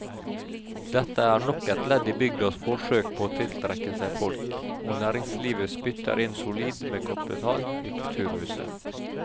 Dette er nok et ledd i bygdas forsøk på å tiltrekke seg folk, og næringslivet spytter inn solid med kapital i kulturhuset.